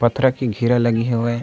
पथरा के घेर लगे हेवय।